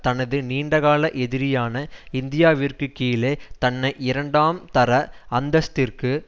தனது நீண்டகால எதிரியான இந்தியாவிற்கு கீழே தன்னை இரண்டாம் தர அந்தஸ்த்திற்கு